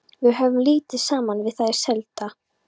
Við höfðum lítið saman við þau að sælda.